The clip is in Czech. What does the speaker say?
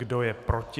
Kdo je proti?